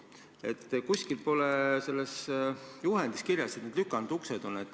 Nendes juhendites pole aga kusagil kirjas, et peavad olema lükanduksed.